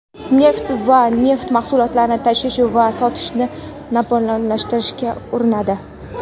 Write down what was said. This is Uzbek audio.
neft va neft mahsulotlarini tashish va sotishni monopollashtirishga urinadi.